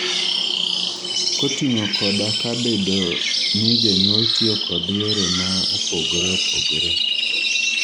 koting'o koda ka bedo ni jonyuol tiyo kod yore ma opogore opogore